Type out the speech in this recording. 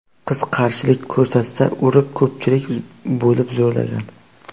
Qiz qarshilik ko‘rsatsa, urib, ko‘pchilik bo‘lib zo‘rlagan.